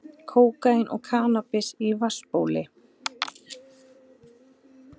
Kókaín og kannabis í vatnsbóli